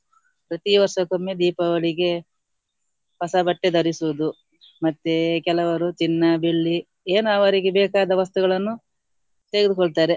ಪ್ರತೀ ವರ್ಷಕ್ಕೊಮ್ಮೆ ದೀಪಾವಳಿಗೆ ಹೊಸ ಬಟ್ಟೆ ಧರಿಸುವುದು ಮತ್ತೆ ಕೆಲವರು ಚಿನ್ನ, ಬೆಳ್ಳಿ ಏನವರಿಗೆ ಬೇಕಾದ ವಸ್ತುಗಳನ್ನು ತೆಗೆದುಕೊಳ್ತಾರೆ.